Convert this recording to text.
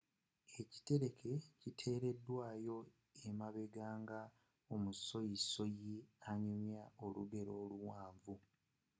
eikulekle kyi teredwawo emabega nga omusoyisoyi anyumywa olugero oluwanvu